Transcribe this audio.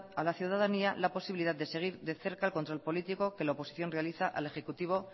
a la ciudadanía la posibilidad de seguir de cerca control político que la oposición realiza al ejecutivo